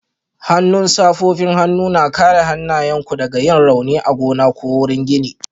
Hannun safofin hannu na kare hannayenku daga yin rauni a gona ko wurin gini